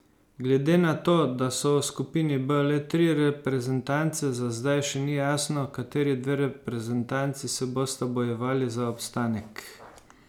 Glede na to, da so v skupini B le tri reprezentance, za zdaj še ni jasno, kateri dve reprezentanci se bosta bojevali za obstanek.